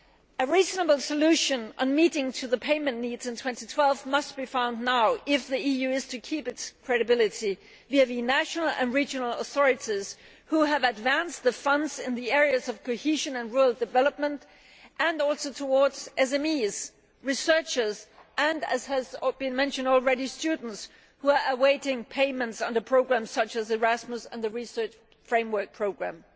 A reasonable solution on meeting the payment needs in 2012 must be found now if the EU is to keep its credibility vis vis national and regional authorities who have advanced the funds in the areas of cohesion and rural development, and also towards SMEs, researchers and, as has been mentioned already, students who are awaiting payments under programmes such as Erasmus and the Research Framework programme.